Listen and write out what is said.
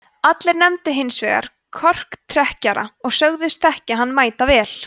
allir nefndu hins vegar korktrekkjara og sögðust þekkja hann mætavel